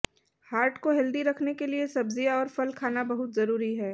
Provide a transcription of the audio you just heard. heart को healthy रखने के लिए सब्जियां और फल खाना बहुत जरूरी है